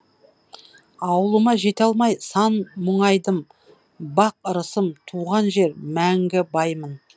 ауылыма жете алмай сан мұңайдым бақ ырысым туған жер мәңгі баймын